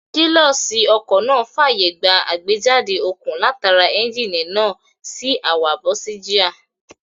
Kílọ̀ṣì ọkọ̀ náà fàyè gba àgbéjáde okun látara éúnjínì náà sí àwa bọ́ọ̀sìgíà